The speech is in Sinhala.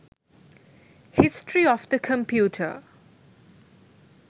history of the computer